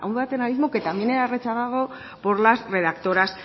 un paternalismo que también era rechazado por las redactoras